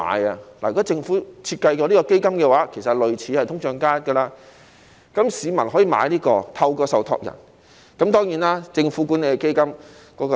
如果政府設計了這項基金，其實是類似"通脹加 1%" 的，那麼市民可以透過受託人購買這項基金。